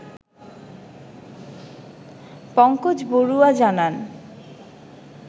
পংকজবড়ুয়া জানান